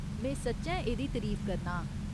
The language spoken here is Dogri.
में सच्चैं एह्दी तरीफ करना आं।